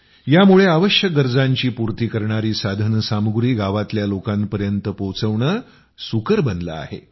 यामुळे आवश्यक गरजांची पूर्ती करणारी साधन सामुग्री गावातल्या लोकांपर्यंत पोहोवणं सुकर बनलं आहे